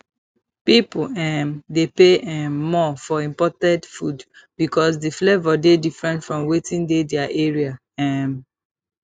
pipo um dey pay um more for imported food because di flavour dey differennt from weti dey their area um